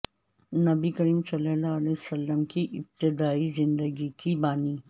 نبی صلی اللہ علیہ وسلم کی ابتدائی زندگی کی بانی